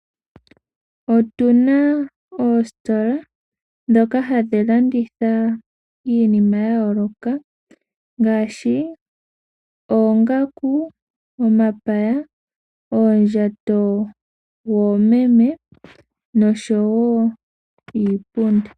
Otu na oositola ndhoka hadhi landitha iinima ya yooloka ngaashi: oongaku, omapaya, uundjato woomeme oshowoo iipundi.